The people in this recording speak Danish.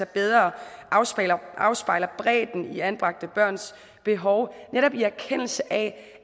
bedre afspejler afspejler bredden i anbragte børns behov netop i erkendelse af